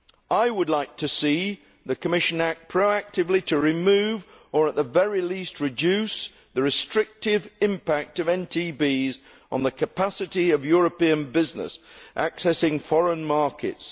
I would like to see the Commission act proactively to remove or at the very least reduce the restrictive impact of NTBs on the capacity of European businesses accessing foreign markets.